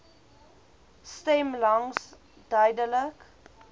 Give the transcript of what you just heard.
stem langs duidelik